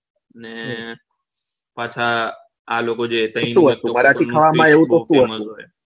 ને પાછા